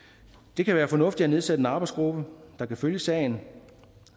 det kan være fornuftigt at nedsætte en arbejdsgruppe der kan følge sagen